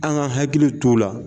An ka hakili t'o la.